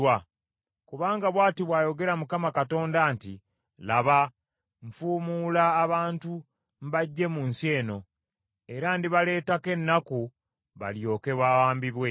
Kubanga bw’ati bw’ayogera Mukama Katonda nti, “Laba nfuumuula abantu mbaggye mu nsi eno, era ndibaleetako ennaku balyoke bawambibwe.”